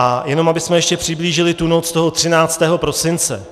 A jenom abychom ještě přiblížili tu noc toho 13. prosince.